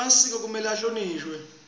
emasiko kumele ahlonishwe